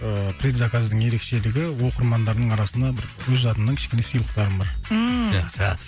ыыы предзаказдың ерекшелігі оқырмандардың арасына бір өз атымнан кішкене сыйлықтарым бар ммм жақсы